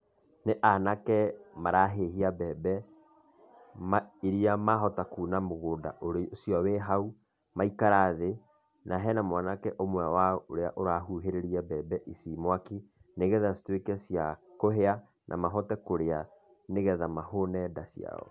Nĩ anake marahĩhia mbembe, iria mahota kuuna mũgũnda ũcio wĩhau, maikara thĩ, na hena mwanake ũmwe wa ũrahuhĩrĩria mbembe ici mwakĩ, nigetha ihote cia kũhĩa na mahote kũrĩa nĩgetha mahũne nda cio.